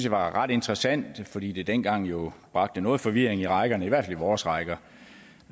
var ret interessant fordi det dengang jo bragte noget forvirring i rækkerne i hvert fald i vores rækker